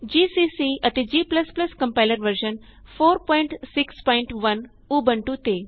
GCC ਅਤੇ g compiler version 461 Ubuntu ਤੇ